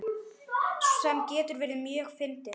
Sem getur verið mjög fyndið.